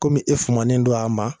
Komi e famanen don a ma